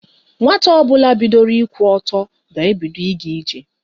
Nwata ọbụla bidoro ịkwụ ọtọ ga-ebido ịga ije.